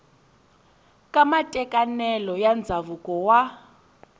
ka matekanelo ya ndzhavuko wa